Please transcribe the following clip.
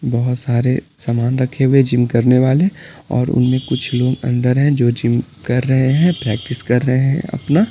बहुत सारे सामान रखे हुए जिम करने वाले और उनमें कुछ लोग अंदर हैं जो जिम कर रहे हैं प्रैक्टिस कर रहे हैं अपना--